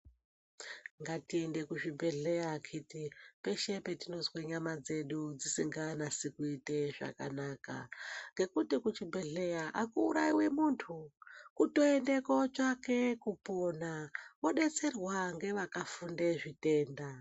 Ngatiende kuzvibhedhleya akiti peshe petinozwa nyama dzedu dzingaiti zvakanaka ngekuti kuchibhedhlera akuurayiwi muntu kutoenda kootsvaka kupona wodetserwa ngevakafunda zvitenda.